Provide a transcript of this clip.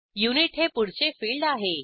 unit हे पुढचे field आहे